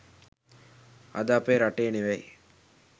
අද අපේ රටේ ‍නෙවෙයි